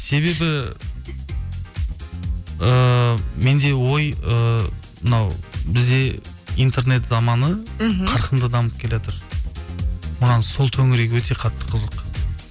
себебі ыыы менде ой ыыы мынау бізде интернет заманы мхм қарқынды дамып келеатыр маған сол төңірек өте қатты қызық